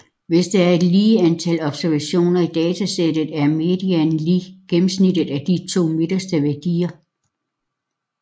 Hvis der er et lige antal observationer i datasættet er medianen lig gennemsnittet af de to midterste værdier